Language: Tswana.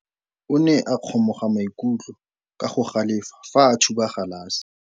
Morwa wa me o ne a kgomoga maikutlo ka go galefa fa a thuba galase.